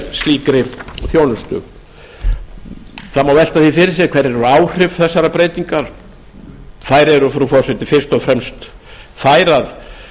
slíkri þjónustu það má velta því fyrir sér hver eru áhrif þessarar breytingar þau eru frú forseti fyrst þau að